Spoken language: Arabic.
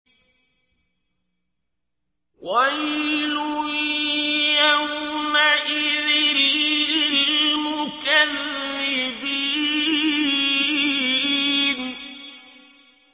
وَيْلٌ يَوْمَئِذٍ لِّلْمُكَذِّبِينَ